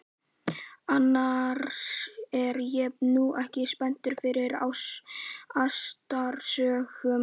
Annars er ég nú ekkert spenntur fyrir ástarsögum.